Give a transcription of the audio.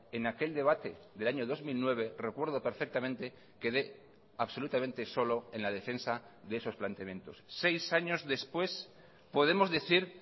en aquel debate del año dos mil nueve recuerdo perfectamente quedé absolutamente solo en la defensa de esos planteamientos seis años después podemos decir